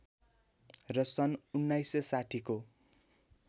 र सन् १९६० को